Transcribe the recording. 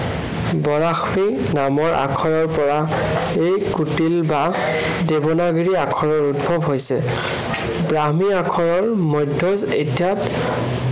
বৰাশ্ৰী নামৰ আখৰৰ পৰা এই কুটিল বা দেৱনাগিৰি আখৰৰ উদ্ভৱ হৈছে। ব্ৰাহ্মী আখৰৰ মধ্য়ম অধ্য়ায়